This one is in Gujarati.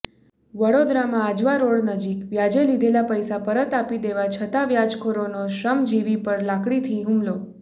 વડોદરામાં આજવારોડ નજીક વ્યાજે લીધેલા પૈસા પરત આપી દેવા છતાં વ્યાજખોરોનો શ્રમજીવી પર લાકડીથી હુમલો